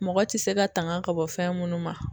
Mɔgɔ ti se ka tanga ka bɔ fɛn munnu ma